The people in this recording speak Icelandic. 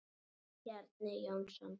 Bjarni Jónsson